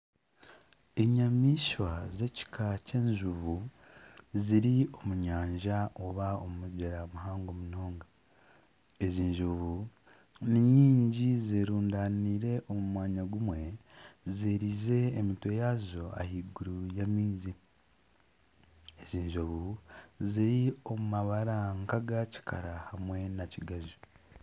Enyamaishwa z'ekika ky'enjubu ziri omu nyanja oba omu mugyera muhango munonga ezi njubu ni nyingi zerundaniire omu mwanya gumwe ziriize emitwe yaazo ahaiguru y'amaizi enjubu ziri omu mabara nkagakikara hamwe na kigaju.